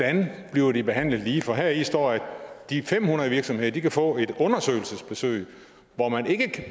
bliver de behandlet lige for heri står der at de fem hundrede virksomheder kan få et undersøgelsesbesøg hvor man ikke